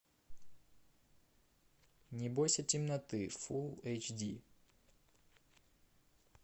не бойся темноты фул эйч ди